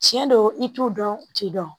Tiɲɛ don i t'u dɔn u t'i dɔn